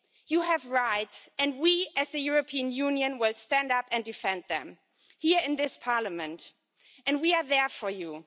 You have rights and we, as the European Union, will stand up and defend them here in this Parliament, and we are there for you.